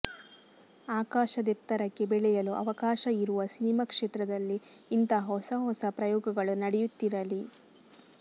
ಆಕಾಶದೆತ್ತರಕ್ಕೆ ಬೆಳೆಯಲು ಅವಕಾಶ ಇರುವ ಸಿನಿಮಾ ಕ್ಷೇತ್ರದಲ್ಲಿ ಇಂತಹ ಹೊಸ ಹೊಸ ಪ್ರಯೋಗಗಳು ನಡೆಯುತ್ತಿರಲಿ